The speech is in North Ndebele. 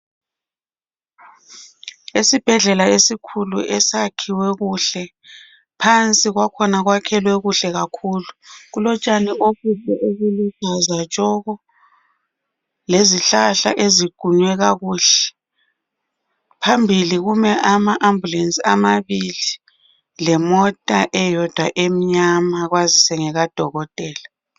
Esibhedlela esikhulu esakhiwe kuhle phansi kwakhona kwakhelwe okuhle kakhulu. Kulotshani obuluhlaza tshoko lezihlahla eziqunywe kakuhle. Phambili kumele ama ambulance amabili lemota eyodwa emnyama kwazi ngekadokotela